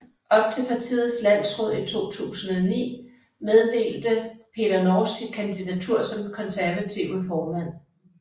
Op til partiets landsråd i 2009 meddelte Peter Norsk sit kandidatur som Konservative formand